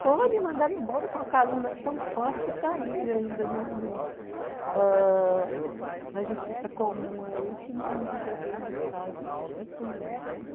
Foi, me mandaram embora com uma calúnia tão forte que está aí ainda no no ãh na justiça comum aí, que não resolveram o meu caso de jeito nenhum.